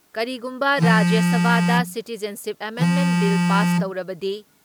ꯀꯔꯤꯒꯨꯝꯕ ꯔꯥꯖ꯭ꯌ ꯁꯚꯥꯗ ꯁꯤꯇꯤꯖꯟꯁꯤꯞ ꯑꯦꯃꯦꯟꯃꯦꯟ ꯕꯤꯜ ꯄꯥꯁ ꯇꯧꯔꯕꯗꯤ